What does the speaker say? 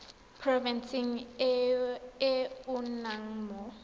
porofenseng e o nnang mo